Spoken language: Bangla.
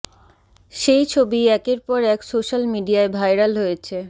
সেই ছবিই একের পর এক সোশ্যাল মিডিয়ায় ভাইরাল হয়েছে